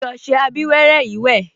Fi ọṣẹ abíwẹ́rẹ́ yìí wẹ̀